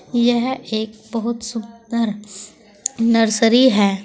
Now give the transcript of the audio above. यह एक बहुत सुंदर नर्सरी है।